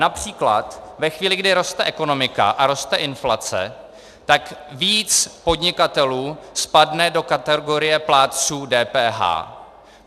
Například ve chvíli, kdy roste ekonomika a roste inflace, tak víc podnikatelů spadne do kategorie plátců DPH.